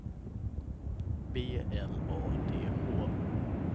B L A D H